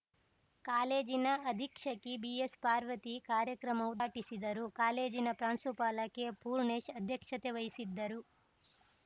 ಕಾಲೇಜಿನ ಅಧೀಕ್ಷಕಿ ಬಿಎಸ್‌ಪಾರ್ವತಿ ಕಾರ್ಯಕ್ರಮ ಉದ್ಘಾಟಿಸಿದರು ಕಾಲೇಜಿನ ಪ್ರಾಂಶುಪಾಲ ಕೆಪೂರ್ಣೇಶ್‌ ಅಧ್ಯಕ್ಷತೆ ವಹಿಸಿದ್ದರು